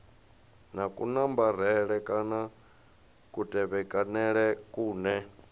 na kunambarele kana kutevhekanele kune